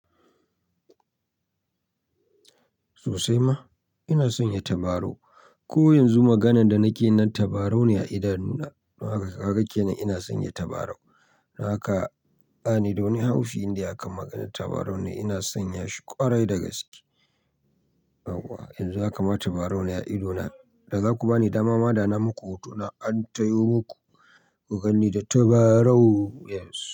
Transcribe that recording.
Sosai ma ina son ya tabarau. Ko yanzu maganan da nake nan tabarau ne a idanu na. Kaga kenan ina san ya tabarau. Don haka bani da wani haufi indai akan magar tabarau ne ina sanya shi ƙwarai dagaske. Yuwa yanzu haka ma tabarau ne a idona, daza ku bani dama ma da na maku hotona an tayo muku ku ganni da tabarau yanzu.